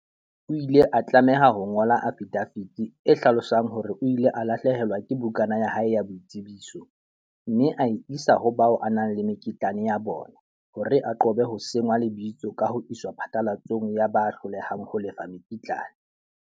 O ile a tlameha ho ngola afidafiti e hlalosang hore o ile a lahlehelwa ke bukana ya hae ya boitsebiso, mme a e isa ho bao a nang le mekitlane ya bona hore a qobe ho senngwa lebitso ka ho iswa phatlalatsong ya ba hlolehang ho lefa mekitlane.